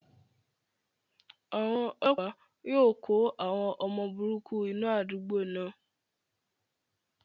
Àwọn ọlọ́pàá yóò kó àwọn ọmọ burúkú inú àdúgbò náà.